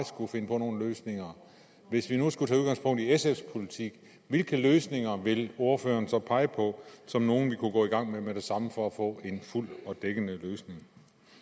skulle finde på nogle løsninger og hvis vi nu skulle tage udgangspunkt i sfs politik hvilke løsninger ville ordføreren så pege på som nogle vi kunne gå i gang med med det samme for at få en fuld og dækkende løsning